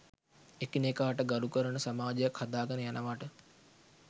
එකිනෙකාට ගරු කරන සමාජයක් හදාගෙන යනවට